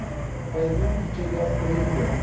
Rapazinho, eu cheguei aos treze anos.